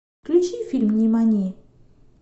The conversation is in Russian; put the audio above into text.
включи фильм нимани